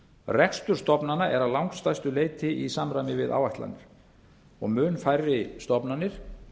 rekstur stofnana er að langstærstu leyti í samræmi við áætlanir og mun færri stofnanir